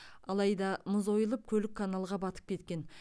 алайда мұз ойылып көлік каналға батып кеткен